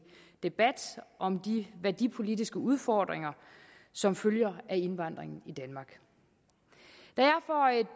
debat om de værdipolitiske udfordringer som følger af indvandringen i danmark